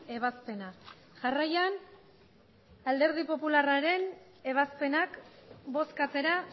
ebazpena jarraian alderdi popularraren ebazpenak bozkatzera